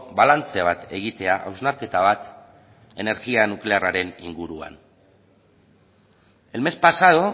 balantze bat egitea hausnarketa bat energia nuklearraren inguruan el mes pasado